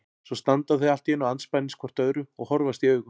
Svo standa þau allt í einu andspænis hvort öðru og horfast í augu.